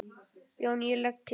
JÓN: Ég legg til.